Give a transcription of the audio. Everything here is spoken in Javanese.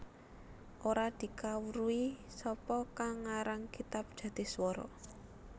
Ora dikawruhi sapa kang ngarang kitab Jatiswara